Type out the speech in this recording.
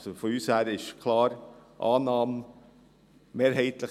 Von unserer Seite her ist die Annahme also klar.